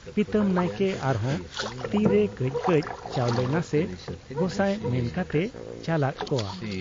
ᱯᱤᱛᱟᱹᱢ ᱱᱟᱭᱠᱮ ᱟᱨᱦᱚᱸ ᱛᱤᱨᱮ ᱠᱟᱹᱡ ᱠᱟᱹᱡ ᱪᱟᱣᱞᱮ ᱱᱟᱥᱮ ᱜᱚᱸᱜᱟᱭ ᱢᱮᱱ ᱠᱟᱛᱮᱭ ᱪᱟᱞᱟᱫ ᱠᱚᱣᱟ ᱾